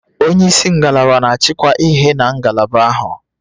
Onye isi ngalaba na-achịkwa ihe na ngalaba ahụ